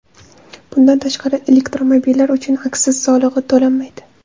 Bundan tashqari, elektromobillar uchun aksiz solig‘i to‘lanmaydi.